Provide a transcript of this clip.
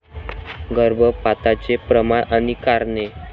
गर्भपाताचे प्रमाण आणि कारणे